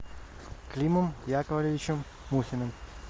климом яковлевичем мухиным